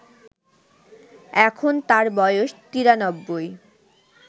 এখন তাঁর বয়স ৯৩